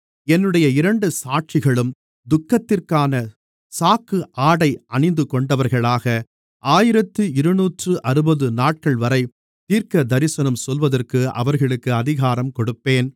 என்னுடைய இரண்டு சாட்சிகளும் துக்கத்திற்கான சாக்கு ஆடை அணிந்துகொண்டவர்களாக ஆயிரத்து இருநூற்றுஅறுபது நாட்கள்வரை தீர்க்கதரிசனம் சொல்லுவதற்கு அவர்களுக்கு அதிகாரம் கொடுப்பேன்